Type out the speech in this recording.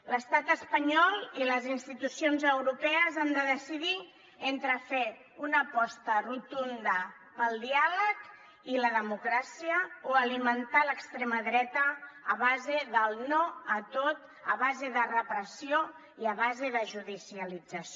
l’estat espanyol i les institucions europees han de decidir entre fer una aposta rotunda pel diàleg i la democràcia o alimentar l’extrema dreta a base del no a tot a base de repressió i a base de judicialització